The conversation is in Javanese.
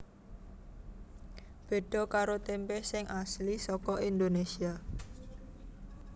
Béda karo tèmpé sing asli saka Indonésia